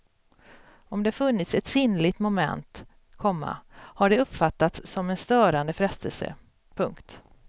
Om det funnits ett sinnligt moment, komma har det uppfattats som en störande frestelse. punkt